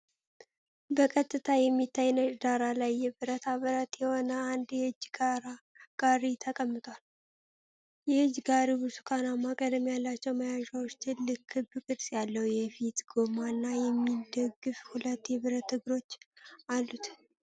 በቀጥታ በሚታይ ነጭ ዳራ ላይ የብረታ ብረት የሆነ አንድ የእጅ ጋሪ ተቀምጧል። የእጅ ጋሪው ብርቱካናማ ቀለም ያላቸው መያዣዎች፣ ትልቅ ክብ ቅርጽ ያለው የፊት ጎማ እና የሚደግፉ ሁለት የብረት እግሮች አሉት።